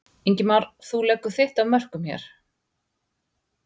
Ingimar: Þú leggur þitt af mörkum hér?